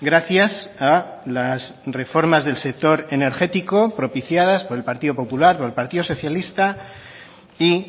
gracias a las reformas del sector energético propiciadas por el partido popular por el partido socialista y